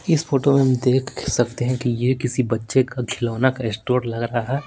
इस फोटो में हम देख सकते हैं कि ये किसी बच्चे का खिलौना का स्टोर लग रहा है।